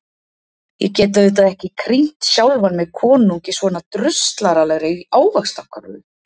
Ég get auðvitað ekki krýnt sjálfan mig konung í svona draslaralegri ávaxtkörfu.